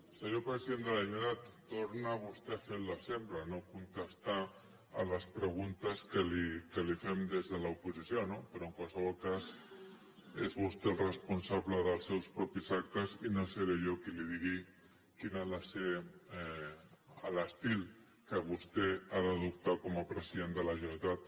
senyor president de la generalitat torna vostè ha fer el de sempre no contestar les preguntes que li fem des de l’oposició no però en qualsevol cas és vostè el responsable dels seus propis actes i no seré jo qui li digui quin ha de ser l’estil que vostè ha d’adoptar com a president de la generalitat